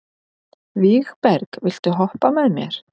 Vígberg, viltu hoppa með mér?